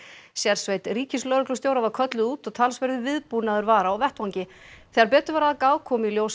sérsveit ríkislögreglustjóra var kölluð út og talsverður viðbúnaður var á vettvangi þegar betur var að gáð kom í ljós